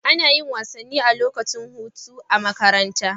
Ana yin wasanni a lokacin hutu a makaranta